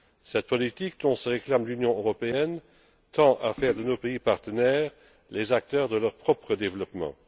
Cette politique dont se réclame l'Union européenne tend à faire de nos pays partenaires les acteurs de leur propre développement.